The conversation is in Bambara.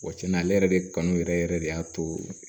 Wa cɛn na ale yɛrɛ de kanu yɛrɛ yɛrɛ de y'a to